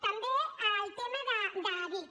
també el tema de bic